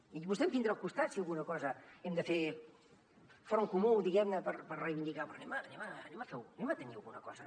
i vostè em tindrà al costat si amb alguna cosa hem de fer front comú diguem ne per reivindicar però tinguem alguna cosa